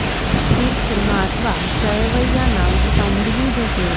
શિર ખુરમા અથવા સેવૈયા નામ તો સાંભળ્યું જ હશે